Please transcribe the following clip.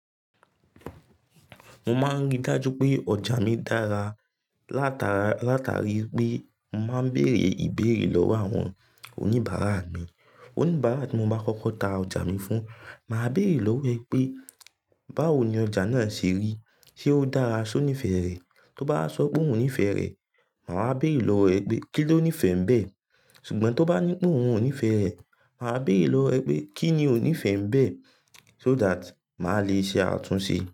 Mo máa ríi dájú pé ọjà mi dára látara, látari pé mo màá bèrè ìbéèrè lọ́wọ́ àwọn oníbàárà mi. Oníbàárà tí mo bá kókó ta ọjà mi fún, màa bèrè lọ́wọ́ ẹ̀ pé, báwo ni ọjà náà ṣe rí? Ṣé ó dára? Ṣé o nífẹ̀ẹ́ rẹ̀? Tó bá sọ pé òun ò nífẹ̀ẹ́ rẹ̀, màá bèrè lọ́wọ́ ẹ̀ pé, kí ló nífẹ̀ẹ́ bẹ́ẹ̀? Ṣùgbọ́n tó bá ní pé òun ò nífẹ̀ẹ́ rẹ̀, màá bèrè lọ́wọ́ ẹ̀ pé, kí ni o nífẹ̀ẹ́ bẹ́ẹ̀? So that màá le ṣe àtúnṣe.